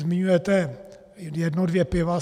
Zmiňujete jedno dvě piva.